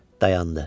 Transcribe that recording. dayandı.